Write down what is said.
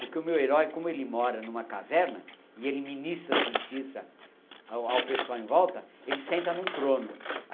Porque o meu herói, como ele mora numa caverna e ele ministra a justiça ao ao pessoal em volta, ele senta em um trono.